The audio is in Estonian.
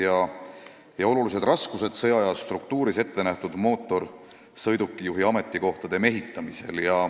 Samuti kaasneksid olulised raskused sõjaaja struktuuris ette nähtud mootorsõidukijuhtide leidmisel.